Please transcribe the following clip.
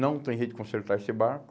Não tem jeito de consertar esse barco.